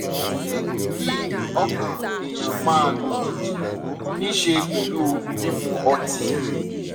ṣé kí ọkàn èèyàn máa lù kìkì níí ṣe pẹ̀lú mímu ọtí?